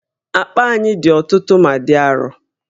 Akpa anyị dị ọtụtụ ma dị arọ